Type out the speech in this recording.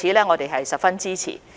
我們對此十分支持。